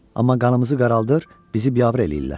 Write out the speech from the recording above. Amma qanımızı qaraldır, bizi biabır eləyirlər.